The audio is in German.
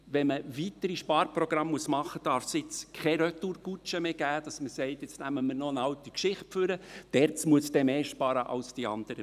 Wenn man weitere Sparprogramme machen muss, darf es jetzt keine Retourkutsche mehr geben, indem man sagt: «Jetzt nehmen wir noch eine alte Geschichte hervor, und die ERZ muss dann mehr sparen als die anderen.